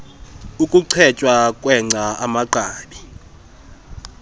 ukuchetywa kwengca amagqabi